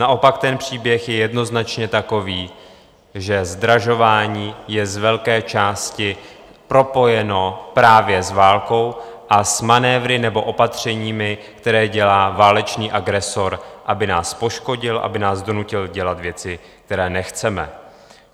Naopak ten příběh je jednoznačně takový, že zdražování je z velké části propojeno právě s válkou a s manévry nebo opatřeními, které dělá válečný agresor, aby nás poškodil, aby nás donutil dělat věci, které nechceme.